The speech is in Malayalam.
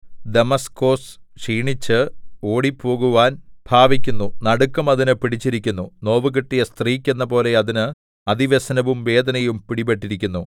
ദമാസ്കോസ് ക്ഷീണിച്ച് ഓടിപ്പോകുവാൻ ഭാവിക്കുന്നു നടുക്കം അതിന് പിടിച്ചിരിക്കുന്നു നോവുകിട്ടിയ സ്ത്രീക്ക് എന്നപോലെ അതിന് അതിവ്യസനവും വേദനയും പിടിപെട്ടിരിക്കുന്നു